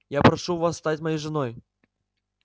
я прошу вас стать моей женой